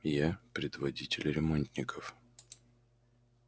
я предводитель ремонтников